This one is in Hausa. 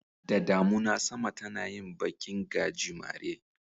Da damuna sama tana yin bakin gajimare.